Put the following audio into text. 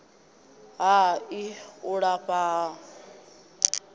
ha ii u lafha ha